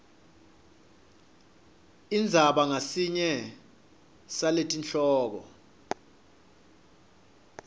indzaba ngasinye saletihloko